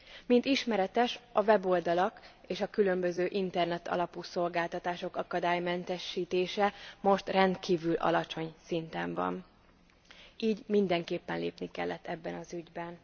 Mint ismeretes a weboldalak és a különböző internetalapú szolgáltatások akadálymentesítése most rendkívül alacsony szinten van, így mindenképpen lépni kellett eben az ügyben.